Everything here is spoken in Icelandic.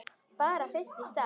Bara fyrst í stað.